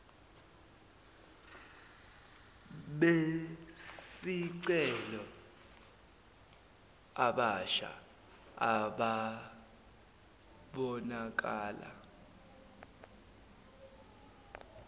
besicelo abasha ababonakala